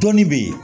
Dɔnni bɛ yen